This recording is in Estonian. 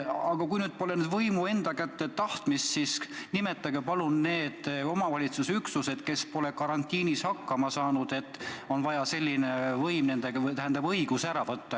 Aga kui nüüd pole võimu enda kätte tahtmist, siis nimetage palun need omavalitsusüksused, kes pole karantiini aja hakkama saanud, nii et on vaja nendelt selline õigus ära võtta.